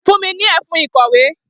Fún mi ní e̩fun ìkò̩wé!